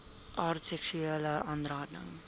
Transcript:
aard seksuele aanranding